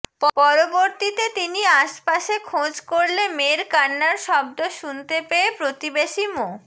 পরবর্তীতে তিনি আশপাশে খোঁজ করলে মেয়ের কান্নার শব্দ শুনতে পেয়ে প্রতিবেশী মো